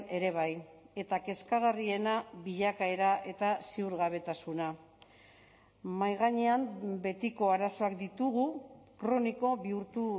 ere bai eta kezkagarriena bilakaera eta ziurgabetasuna mahai gainean betiko arazoak ditugu kroniko bihurtu